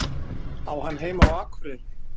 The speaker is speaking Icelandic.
Á hann heima á Akureyri?